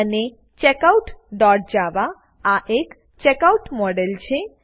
અને checkoutજાવા આ એક ચેકઆઉટ ચેકઆઉટ મોડેલ છે